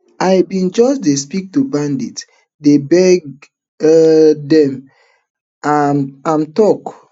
i bin just dey speak to bandits dey beg um dem im tok um